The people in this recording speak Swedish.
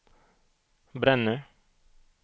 Brännö